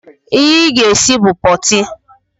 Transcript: Ihe ị ga-esi bụ pọọtị!